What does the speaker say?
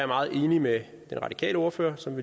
meget enig med den radikale ordfører som